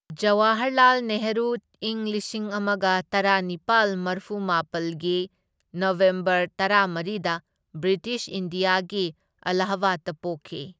ꯖꯋꯥꯍꯔꯂꯥꯜ ꯅꯦꯍꯔꯨ ꯏꯪ ꯂꯤꯁꯤꯡ ꯑꯃꯒ ꯇꯔꯥꯅꯤꯄꯥꯜ ꯃꯔꯐꯨꯃꯥꯄꯜꯒꯤ ꯅꯕꯦꯝꯕꯔ ꯇꯔꯥꯃꯔꯤꯗ ꯕ꯭ꯔꯤꯇꯤꯁ ꯏꯟꯗꯤꯌꯥꯒꯤ ꯑꯂꯥꯍꯕꯥꯗꯇ ꯄꯣꯛꯈꯤ꯫